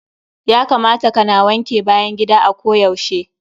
Ya kamata ka na wanke bayan gida a ko yaushe.